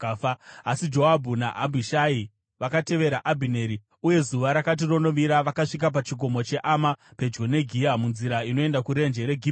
Asi Joabhu naAbhishai vakatevera Abhineri, uye zuva rakati ronovira, vakasvika pachikomo cheAma, pedyo neGiya munzira inoenda kurenje reGibheoni.